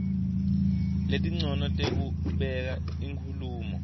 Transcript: letincono tekubeka inkhulumo